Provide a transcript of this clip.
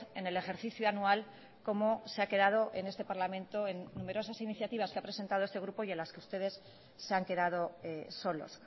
en el ejercicio anual como se ha quedado en este parlamento en numerosas iniciativas que ha presentado este grupo y a la que ustedes se han quedado solos